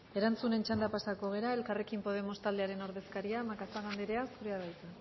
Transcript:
erantzunen txandara pasako gara elkarrekin podemos taldearen ordezkaria macazaga andrea zurea da hitza